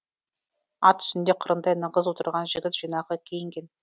ат үстінде қырындай нығыз отырған жігіт жинақы киінген